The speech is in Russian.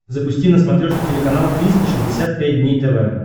запусти на смотрешке телеканал триста шестьдесят пять дней тв